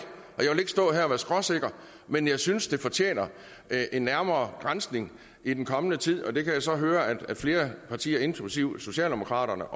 stå her og være skråsikker men jeg synes bare det fortjener en nærmere granskning i den kommende tid og det kan jeg så høre at flere partier inklusive socialdemokraterne